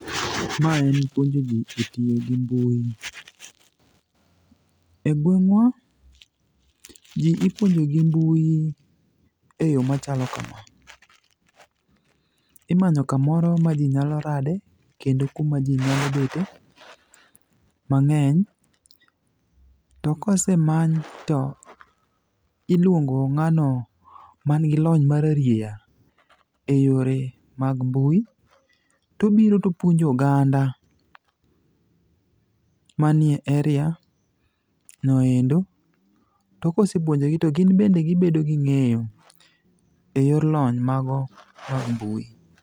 Mae en puonjo ji e tiyo gi mbui. E gweng'wa, ji ipuonjo gi mbui e yo machalo kama. Imanyo kamoro ma ji nyalo rade, kendo kuma ji nyalo bete mang'eny. To kosemany to, iluongo ng'ano manigi lony mararieya e yore mag mbui tobiro topuonjo oganda manie area no endo, to kosepuonjogi to gin bende gibedo gi ng'eyo e yor lony mago mag mbui.